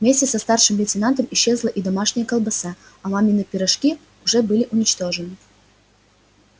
вместе со старшим лейтенантом исчезла и домашняя колбаса а мамины пирожки уже были уничтожены